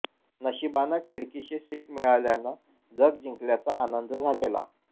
नशिबानं खिडकीशी सीट मिळाल्यानं जग जिंकल्याचा आनंद झालेला